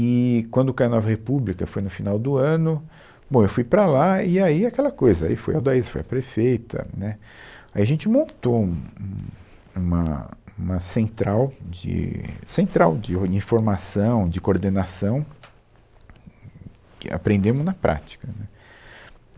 E quando caiu a Nova República, foi no final do ano, bom, eu fui para lá e aí aquela coisa, aí foi a Aldaiza, foi a prefeita, né, aí a gente montou um, um, uma, uma central de, central de ori, informação, de coordenação, que aprendemos na prática.